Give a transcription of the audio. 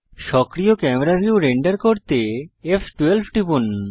সক্রিয় camera view render করতে ফ12 টিপুন